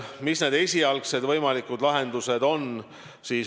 Mis need esialgsed võimalikud lahendused on?